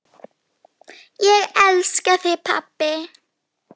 Ég elska þig pabbi.